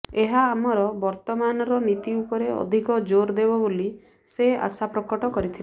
ଏହା ଆମର ବର୍ତ୍ତମାନର ନୀତି ଉପରେ ଅଧିକ ଜୋର ଦେବ ବୋଲି ସେ ଆଶାପ୍ରକଟ କରିଥିଲେ